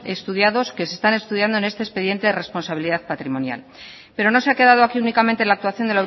estudiados que se están estudiando en este expediente responsabilidad patrimonial pero no se ha quedado aquí únicamente la actuación